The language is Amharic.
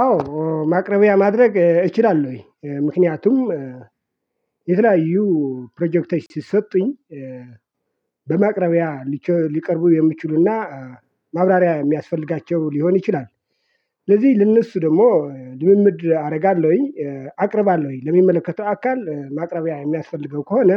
አዎ ማቅረቢያ ማድረግ እችላለሁ ምክንያቱም የተለያዩ ፕሮጀክቶች ሲሰጡኝ በማቅረቢያ ሊቀርቡ የሚችሉና ማብራሪያ የሚያስፈልጋቸው ሊሆን ይችላል። ስለዚህ ለእነሱ ደግሞ ልምምድ አደርጋለሁኝ አቅርባለሁኝ ለሚመለከተው አካል ማቅረቢያ የሚያስፈልገው ከሆነ